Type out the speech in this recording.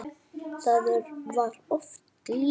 Það var of lítið.